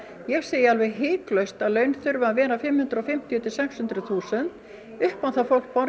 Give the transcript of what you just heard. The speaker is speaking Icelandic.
ég segi hiklaust að laun þurfa að vera fimm hundruð og fimmtíu til sex hundruð þúsund upp á að fólk borgi